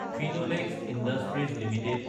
Finlex Industries Ltd